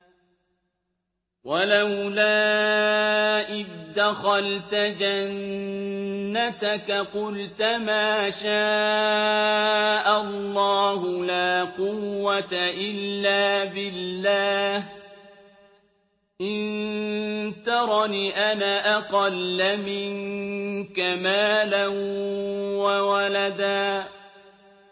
وَلَوْلَا إِذْ دَخَلْتَ جَنَّتَكَ قُلْتَ مَا شَاءَ اللَّهُ لَا قُوَّةَ إِلَّا بِاللَّهِ ۚ إِن تَرَنِ أَنَا أَقَلَّ مِنكَ مَالًا وَوَلَدًا